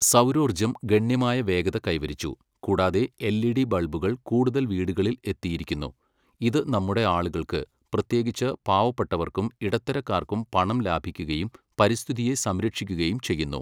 സൗരോർജ്ജം ഗണ്യമായ വേഗത കൈവരിച്ചു, കൂടാതെ എൽഇഡി ബൾബുകൾ കൂടുതൽ വീടുകളിൽ എത്തിയിരിക്കുന്നു, ഇത് നമ്മുടെ ആളുകൾക്ക്, പ്രത്യേകിച്ച് പാവപ്പെട്ടവർക്കും ഇടത്തരക്കാർക്കും പണം ലാഭിക്കുകയും പരിസ്ഥിതിയെ സംരക്ഷിക്കുകയും ചെയ്യുന്നു.